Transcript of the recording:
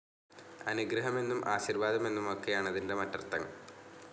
അനുഗ്രഹമെന്നും ആശീർവാദം എന്നുമൊക്കെയാണതിൻ്റെ മറ്റർത്ഥങ്ങൾ.